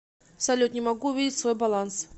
салют не могу увидеть свой баланс